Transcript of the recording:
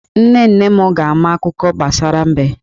Nne nne m ga-ama akuko gbasara mbe.